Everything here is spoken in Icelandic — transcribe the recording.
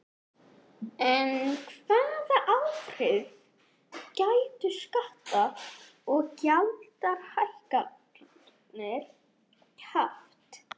En hvaða áhrif gætu skatta- og gjaldahækkanir haft?